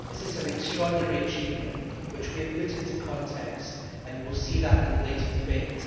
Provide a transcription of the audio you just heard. This is an extraordinary achievement, which we have put into context and that will be seen in the later debate.